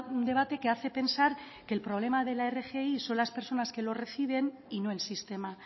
un debate que hace pensar que el problema de la rgi son las personas que lo reciben y no el sistema